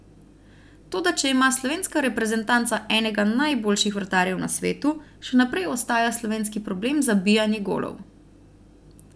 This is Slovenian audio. Toda če ima slovenska reprezentanca enega najboljših vratarjev na svetu, še naprej ostaja slovenski problem zabijanje golov.